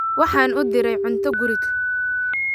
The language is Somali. Waxaan u diray cunto guriga